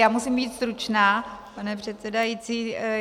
Já musím být stručná, pane předsedající.